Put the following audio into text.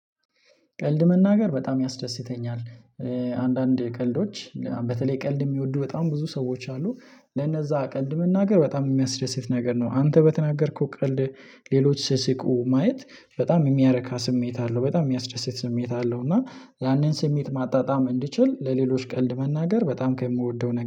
ቀልድ መናገር በጣም ያስደስተኛል። አንዳንድ ቀልዶች በተለይ ቀልድ የሚወዱ በጣም ብዙ ሰዎች አሉ ለነዛ ቀልድ መናገር በጣም የሚያስደስት ነገር ነው። አንተ በተናገርክው ቀልድ ሌሎች ሲስቁ ማየት በጣም የሚያረካ ስሜት አለው። በጣም የሚያስደስት ስሜት አለው። እና ያንን ስሜት ማጣጣም እንዲችሉ ለሌሎች ቀልድ መናገር በጣም ከምወደው